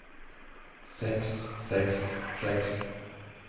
seks seks seks